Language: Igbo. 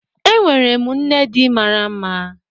Enwere m nne di mara mma